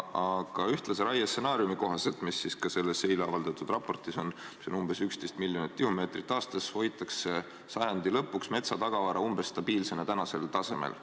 Aga ühtlase raie stsenaariumi kohaselt – see on ka selles eile avaldatud raportis ja näeb ette umbes 11 miljonit tihumeetrit aastas – hoitakse sajandi lõpuks metsatagavara stabiilsena tänasel tasemel.